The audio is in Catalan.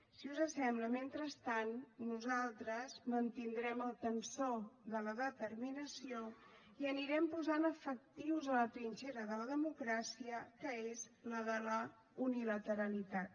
si us sembla mentrestant nosaltres mantindrem el tensor de la determinació i anirem posant efectius a la trinxera de la democràcia que és la de la unilateralitat